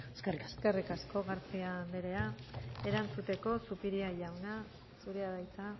eskerrik asko eskerrik asko garcía anderea erantzuteko zupiria jauna zurea da hitza